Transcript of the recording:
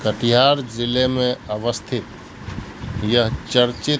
कटिहार जिले में अवस्थित यह चर्चित--